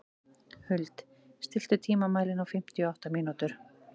Huld, stilltu tímamælinn á fimmtíu og átta mínútur.